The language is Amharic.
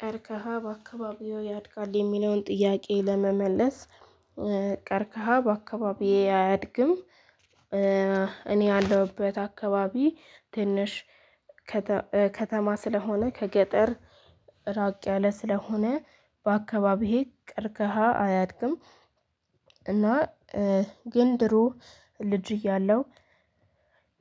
ቀርከሃ በአካባቢው ያድጋል የሚለውን ጥያቄ ለመመለስ ቀርከሃ በአካባቢዬ አያድግም። እኔ ያለሁበት አካባቢ ትንሽ ከተማ ስለሆነ ከገጠር ራቅ ያለ ስለሆነ በአካባቢዬ ቀርከሃ አያድግም። እና ግን ድሮ ልጅ እያለሁ